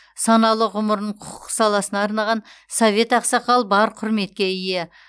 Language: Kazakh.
саналы ғұмырын құқық саласына арнаған совет ақсақал бар құрметке ие